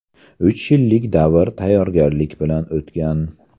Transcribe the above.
Uch yillik davr tayyorgarlik bilan o‘tgan.